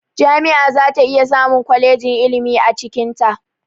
Jami'a zata iya samun kwalejin ilimi a cikinta